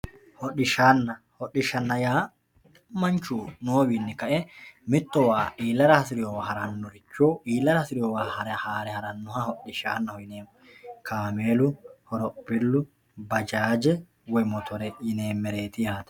Hodhishaana hodhishaho yaa manchu noowinni kae mittowa iilara hasirewowa haranno richo iilara hasirewowa haare harannoha hodhishaanaho yineemo Lawishshaho kaamelu horophillu baajaaje Woy motore yineemereet yaate